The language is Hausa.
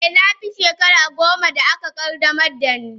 Eh, na fi shekara goma da aka qaddamar da ni.